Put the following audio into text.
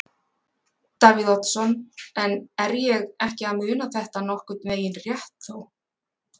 Davíð Oddsson: En er ég ekki að muna þetta nokkurn veginn rétt þó?